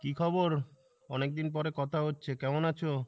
কী খবর? অনেকদিন পরে কথা হচ্ছে, কেমন আছো?